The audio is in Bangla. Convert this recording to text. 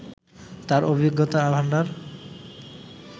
তার অভিজ্ঞতার ভাণ্ডার